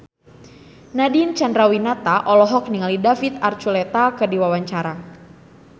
Nadine Chandrawinata olohok ningali David Archuletta keur diwawancara